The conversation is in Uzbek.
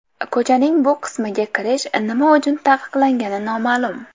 Ko‘chaning bu qismiga kirish nima uchun taqiqlangani noma’lum.